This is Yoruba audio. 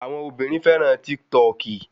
Àwọn obìnrin fẹ́ràn Tíktọọkì